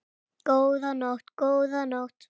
Góða nótt, góða nótt.